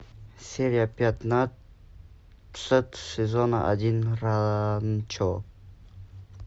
серия пятнадцать сезона один ранчо